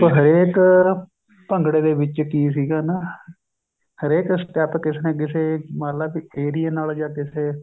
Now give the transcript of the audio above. ਹਰੇਕ ਭੰਗੜੇ ਦੇ ਵਿੱਚ ਕੀ ਸੀਗਾ ਨਾ ਹਰੇਕ step ਕਿਸੇ ਨਾ ਕਿਸੇ ਮੰਨਲੇ ਏਰੀਏ ਨਾਲ ਜਾਂ ਕਿਸੇ